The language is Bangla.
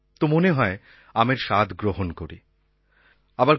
তো মনে হয় আমের স্বাদ গ্রহণ করি আম খাওয়ার মজা উপভোগ করি